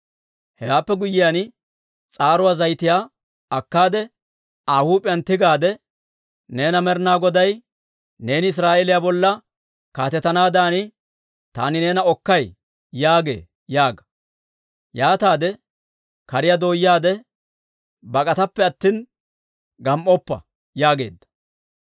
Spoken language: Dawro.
Hewaappe guyyiyaan, s'aaruwaa zayitiyaa akkaade, Aa huup'iyaan tigaadde, ‹Neena Med'ina Goday, «Neeni Israa'eeliyaa bolla kaatetanaadan taani neena Okkay» yaagee› yaaga. Yaataade kariyaa dooyaade, bak'atappe attina, gam"oppa» yaageedda.